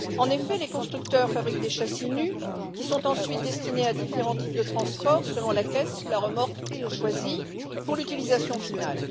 En effet, les constructeurs fabriquent des châssis nus qui sont ensuite destinés à différents types de transport selon la caisse sous la remorque choisie pour l'utilisation finale.